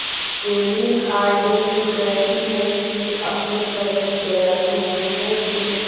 केली हॉर्डिंग कहती हैं कि अपने प्रति दयालु होने के